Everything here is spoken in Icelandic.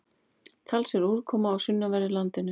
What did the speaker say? Talsverð úrkoma á sunnanverðu landinu